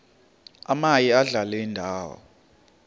omaye adlale indawo